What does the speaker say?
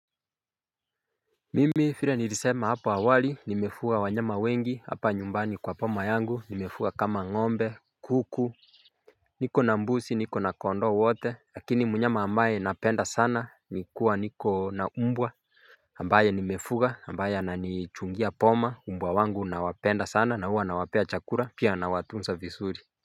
Mimi fire nilisema hapo awali nimefuga wanyama wengi hapa nyumbani kwa poma yangu nimefuga kama ngombe kuku. Niko na mbusi niko na kondoo wote lakini munyama ambaye napenda sana ni kuwa niko na umbwa ambaye nimefuga ambaye ananichungia poma umbwa wangu nawapenda sana na huwa nawapea chakura pia nawatunsa visuri.